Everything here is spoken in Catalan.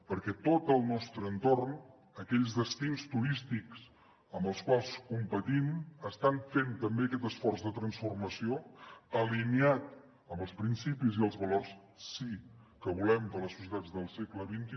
perquè tot el nostre entorn aquells destins turístics amb els quals competim estan fent també aquest esforç de transformació alineat amb els principis i els valors sí que volem per a les societats del segle xxi